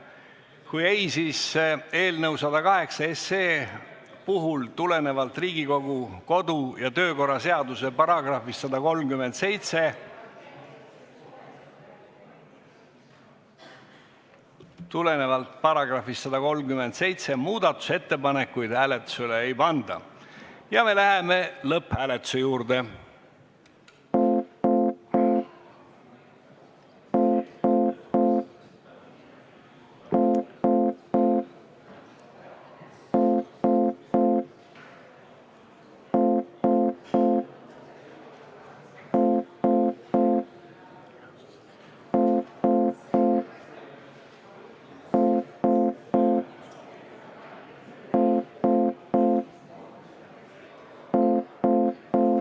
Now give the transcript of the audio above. Kui ei, siis eelnõu 108 puhul, tulenevalt Riigikogu kodu- ja töökorra seaduse §-st 137 ...... tulenevalt §-st 137 muudatusettepanekuid hääletusele ei panda ning me läheme lõpphääletuse juurde.